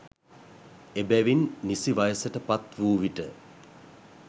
එබැවින් නිසි වයසට පත් වූ විට